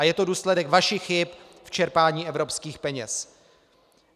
A je to důsledek vašich chyb v čerpání evropských peněz.